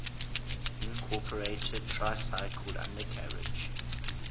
incorporated tricycle undercarriage